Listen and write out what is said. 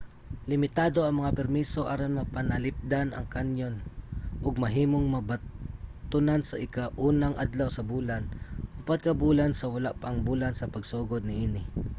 limitado ang mga permiso aron mapanalipdan ang kanyon ug mahimong mabatonan sa ika-unang adlaw sa bulan upat ka bulan sa wala pa ang bulan sa pagsugod niini